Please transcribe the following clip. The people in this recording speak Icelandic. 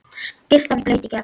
Skyrtan blaut í gegn.